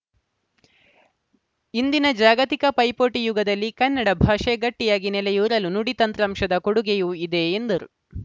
ಇಂದಿನ ಜಾಗತಿಕ ಪೈಪೋಟಿ ಯುಗದಲ್ಲಿ ಕನ್ನಡ ಭಾಷೆ ಗಟ್ಟಿಯಾಗಿ ನೆಲೆಯೂರಲು ನುಡಿ ತಂತ್ರಾಂಶದ ಕೊಡುಗೆಯೂ ಇದೆ ಎಂದರು